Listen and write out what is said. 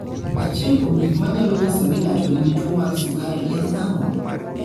Achiel kuom gik manyalo nyiso ni ng'ato nigi tuwo mar sukari en ang'o?